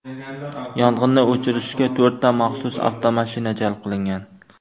Yong‘inni o‘chirishga to‘rtta maxsus avtomashina jalb qilingan.